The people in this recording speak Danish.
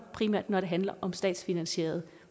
primært handler om statsfinansieret